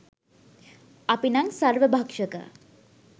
අපි නම් සර්වභක්ෂක